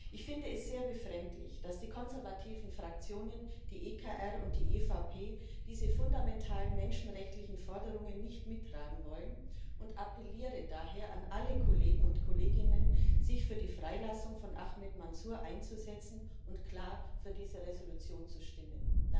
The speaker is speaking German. Ich finde es sehr befremdlich, dass die konservativen Fraktionen, die EKR und die EVP, diese fundamentalen menschenrechtlichen Forderungen nicht mittragen wollen, und appelliere daher an alle Kollegen und Kolleginnen, sich für die Freilassung von Ahmad Mansur einzusetzen und klar für diese Entschließung zu stimmen.